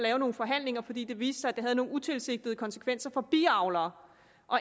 have nogle forhandlinger fordi det viste sig at lovforslaget havde nogle utilsigtede konsekvenser for biavlere